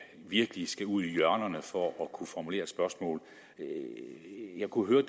virkelig skal ud i hjørnerne for at kunne formulere et spørgsmål jeg kunne høre